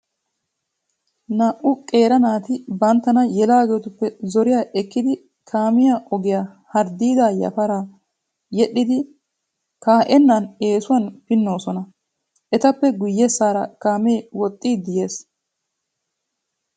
Naa"u qeera naati banttana yelaageetu zoriya ekkidi kaamiya ogiya harddiidaa yafaraa yedhdhidi kaa'ennan eesuwan pinnoosona. Etappe guyyessaara kaamee woxxiiddi yees.